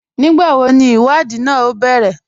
Nígbàwó ní ìwádìí náà o bẹ̀rẹ̀?